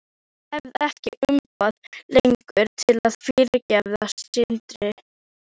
Ég hef ekkert umboð lengur til að fyrirgefa syndir.